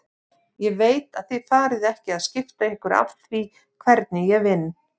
Ég veit að þið farið ekki að skipta ykkur af því hvernig ég vinn.